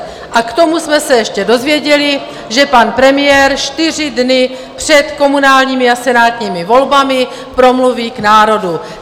A k tomu jsme se ještě dozvěděli, že pan premiér čtyři dny před komunálními a senátními volbami promluví k národu.